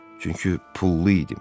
Çünki pullu idim.